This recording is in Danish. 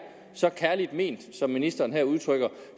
så kærligt ment som ministeren her udtrykker